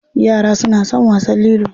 Yara suna son wasan lilo.